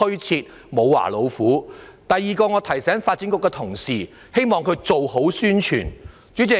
此外，我也要提醒發展局的同事做好宣傳工作。